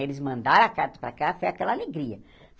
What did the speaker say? Eles mandaram a carta para cá, foi aquela alegria.